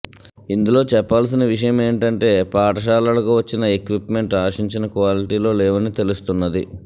ఇందులో చెప్పాల్సిన విషయమేంటంటే పాఠశాలలకు వచ్చి న ఎక్విప్మెంట్ ఆశించిన క్వాలిటీలో లేవని తెలుస్తున్నది